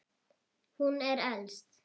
Hún er elst.